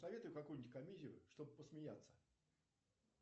посоветуй какую нибудь комедию чтобы посмеяться